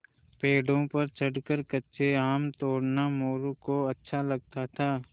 पेड़ों पर चढ़कर कच्चे आम तोड़ना मोरू को अच्छा लगता था